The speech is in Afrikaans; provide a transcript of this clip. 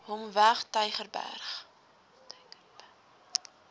hom weg tygerberg